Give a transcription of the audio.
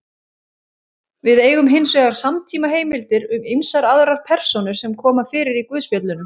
Við eigum hins vegar samtímaheimildir um ýmsar aðrar persónur sem koma fyrir í guðspjöllunum.